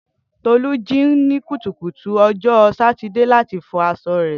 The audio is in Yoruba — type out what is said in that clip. Tolu ji ni kutukutu ojo Satide lati fo aso re.